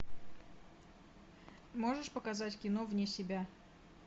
можешь показать кино вне себя